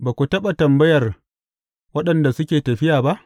Ba ku taɓa tambayar waɗanda suke tafiya ba?